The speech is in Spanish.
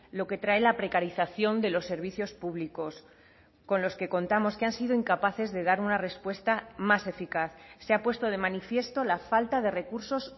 lo que trae la precarización de los servicios públicos con los que contamos que han sido incapaces de dar una respuesta más eficaz se ha puesto de manifiesto la falta de recursos